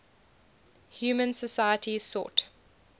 human societies sought